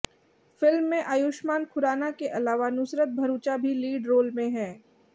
film में आयुष्मान खुराना के अलावा नुसरत भरूचा भी लीड रोल में है